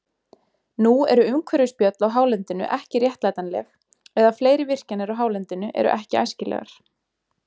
Nú eru umhverfisspjöll á hálendinu ekki réttlætanleg, eða fleiri virkjanir á hálendinu eru ekki æskilegar.